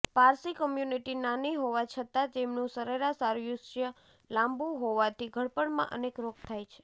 Parsi community નાની હોવા છતાં તેમનું સરેરાશ આયુષ્ય લાંબું હોવાથી ઘડપણમાં અનેક રોગ થાય છે